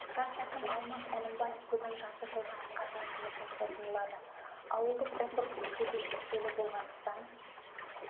жас әкім алмас әлімбаев бүгін жарты жылда атқарған жұмысын қорытындылады ауылдық округ бюджеті шектеулі болғандықтан